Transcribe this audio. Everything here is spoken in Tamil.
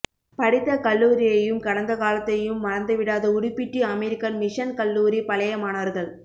படித்த கல்லூரியையும் கடந்த காலத்தையும் மறந்து விடாத உடுப்பிட்டி அமெரிக்கன் மிஷன் கல்லூரி பழைய மாணவர்கள்